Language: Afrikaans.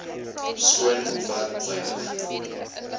skoon ontwerp wynig